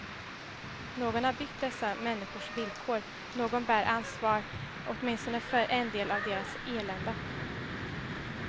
Någon har byggt dessa människors villkor, någon bär ansvar åtminstone för en del av deras elände.